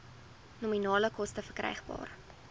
nominale koste verkrygbaar